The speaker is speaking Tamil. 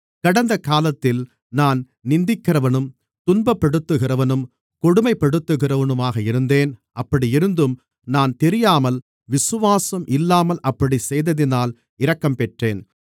கடந்த காலத்தில் நான் நிந்திக்கிறவனும் துன்பப்படுத்துகிறவனும் கொடுமைப்படுத்துகிறவனுமாக இருந்தேன் அப்படி இருந்தும் நான் தெரியாமல் விசுவாசம் இல்லாமல் அப்படிச் செய்ததினால் இரக்கம்பெற்றேன்